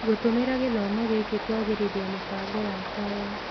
Ngũtũmĩra gĩthomo gĩkĩ kũagĩrithia mũbango wakwa wa